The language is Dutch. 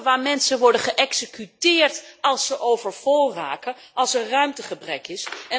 Kampen waar mensen worden geëxecuteerd als ze overvol raken, als er ruimtegebrek is.